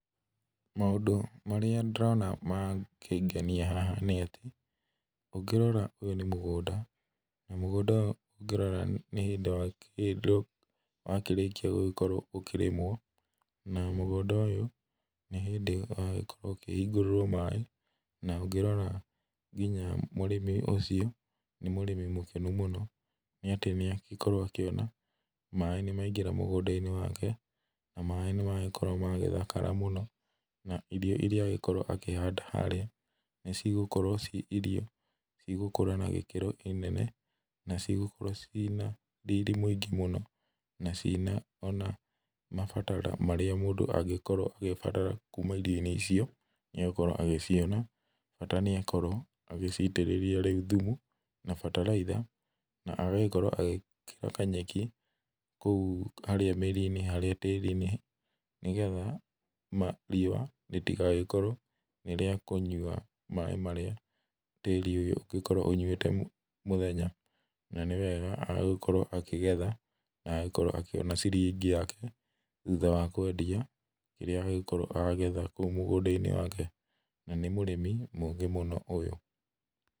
Maũndũ marĩa ndĩrona makĩngenia haha nĩ atĩ, ũngĩrora ũyũ nĩ mũgũnda na mũgũnda ũyũ ũngĩrora nĩ hĩndĩ wa kĩrĩkia gũkorwo ũkĩrĩmwo na mũgũnda ũyũ nĩ hĩndĩ wa kĩrĩkia kũhingũrĩrwo maĩ na ũngĩrora nginya mũrĩmi ũcio nĩ mũrĩmi mũkenu mũno, nĩ atĩ nĩ akorwo akĩona atĩ maĩ nĩ magĩkorwo makĩingĩra mũgũnda-inĩ wake, na maĩ nĩ magĩkorwo magĩthakara mũno na irio iria angĩkorwo akĩhanda harĩa nĩ cigũkorwo ciĩ irio cigũkũra na gĩkĩro kĩnene na cigũkũra ciĩna rĩrĩ mĩũngĩ mũno na ciĩna ona mabataro marĩa mũndũ angĩbatara kuma irio-inĩ icio nĩ agũkorwo agĩciona, bata nĩ akorwo agĩcitĩrĩria thumu na bataraitha, na agagĩkĩra kanyeki harĩa mĩri-inĩ tĩri-inĩ nĩgetha riũa ritigagĩkorwo nĩ rĩa kũnyua maĩ marĩa tĩri ũyũ ũngĩkorwo ũnyuĩte mũthenya, nĩwega agĩkorwo akĩgetha na agagĩkorwo akĩona ciringi yake thutha wa kwendia kĩrĩa angĩkorwo agethete kuma mũgũnda-inĩ wake na mũrĩmi mũgĩ ũyũ.